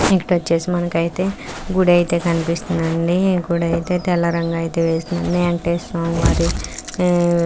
ఇక్కడ ఓచేసి మనకైతే గుడి ఐతే కనిపిస్తుదండి.గుడైతే తెల్లరంగా మనకి వెంకాశేశ్వర స్వామి --]